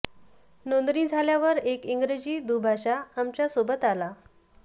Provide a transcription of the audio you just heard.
नोंदणी झाल्यावर एक इंग्रजी दुभाषा आमच्या सोबत आला